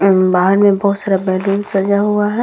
अ बाहर में बहुत सारा बैलून सजा हुआ है।